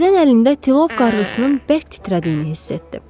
Birdən əlində tilov qarğısının bərk titrədiyini hiss etdi.